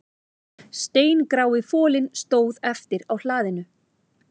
Steingrái folinn stóð eftir á hlaðinu